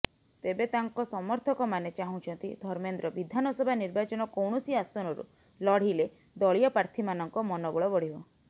ତେବେ ତାଙ୍କ ସମର୍ଥକମାନେ ଚାହୁଁଛନ୍ତି ଧର୍ମେନ୍ଦ୍ର ବିଧାନସଭା ନିର୍ବାଚନ କୌଣସି ଆସନରୁ ଲଢିଲେ ଦଳୀୟ ପ୍ରାର୍ଥୀମାନଙ୍କ ମନୋବଳ ବଢିବ